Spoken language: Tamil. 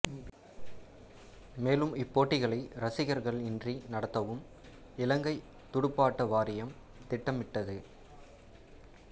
மேலும் இப்போட்டிகளை ரசிகர்கள் இன்றி நடத்தவும் இலங்கை துடுப்பாட்ட வாரியம் திட்டமிட்டது